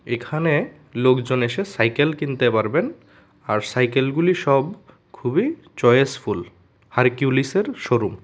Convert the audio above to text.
এখানে লোকজন এসে সাইকেল কিনতে পারবেন আর সাইকেল গুলি সব খুবই চয়েস ফুল হারকিউলিসের শোরুম ।